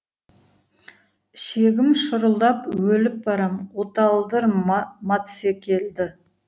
ішегім шұрылдап өліп барам оталдыр матсекелді